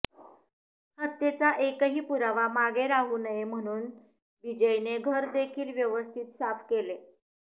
हत्येचा एकही पुरावा मागे राहू नये म्हणून बिजयने घर देखील व्यवस्थित साफ केले